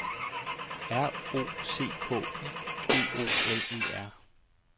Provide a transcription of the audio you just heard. R O C K I D O L E R